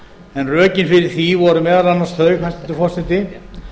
en rökin fyrir því voru meðal annars þau hæstvirtur forseti